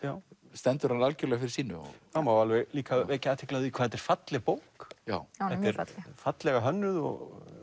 stendur hann algjörlega fyrir sínu það má alveg líka vekja athygli á því hvað þetta er falleg bók fallega hönnuð og